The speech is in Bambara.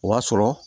O b'a sɔrɔ